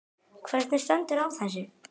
Hvernig stendur á þessu?.